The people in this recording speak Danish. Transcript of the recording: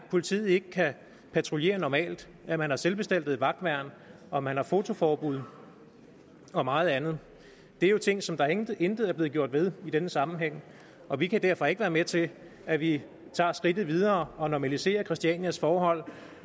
politiet ikke kan patruljere normalt at man har selvbestaltede vagtværn og at man har fotoforbud og meget andet det er jo ting som der intet intet er blevet gjort ved i denne sammenhæng og vi kan derfor ikke være med til at vi tager skridtet videre og normaliserer christianias forhold